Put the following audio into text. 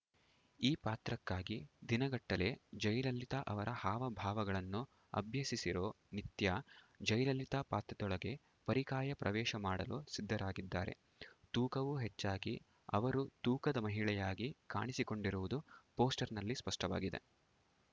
ಈ ಪಾತ್ರಕ್ಕಾಗಿ ದಿನಗಟ್ಟಲೆ ಜಯಲಲಿತಾ ಅವರ ಹಾವ ಭಾವಗಳನ್ನು ಅಭ್ಯಸಿಸಿರೋ ನಿತ್ಯಾ ಜಯಲಲಿತಾ ಪಾತ್ರದೊಳಗೆ ಪರಿಕಾಯ ಪ್ರವೇಶ ಮಾಡಲು ಸಿದ್ಧರಾಗಿದ್ದಾರೆ ತೂಕವೂ ಹೆಚ್ಚಾಗಿ ಅವರು ತೂಕದ ಮಹಿಳೆಯಾಗಿ ಕಾಣಿಸಿಕೊಂಡಿರುವುದು ಪೋಸ್ಟರ್‌ನಲ್ಲಿ ಸ್ಪಷ್ಟವಾಗಿದೆ